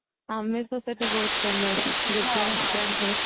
ଆମିଷ ସେଠି ବହୁତ famous ଗିରିଜା restaurant ରେ